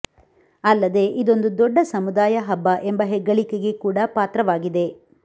ಅಲ್ಲದೆ ಇದೊಂದು ದೊಡ್ಡ ಸಮುದಾಯ ಹಬ್ಬ ಎಂಬ ಹೆಗ್ಗಳಿಕೆಗೆ ಕೂಡಾ ಪಾತ್ರವಾಗಿದೆ